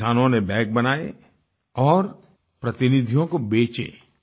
किसानों ने बैग बनाये और प्रतिनिधियों को बेचे